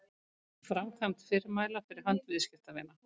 framkvæmd fyrirmæla fyrir hönd viðskiptavina